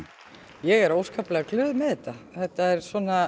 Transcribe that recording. ég er óskaplega glöð með þetta þetta er